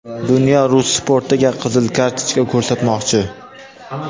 Dunyo rus sportiga qizil kartochka ko‘rsatmoqchi.